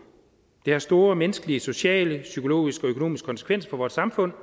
det har store menneskelige sociale psykologiske og økonomiske konsekvenser for vores samfund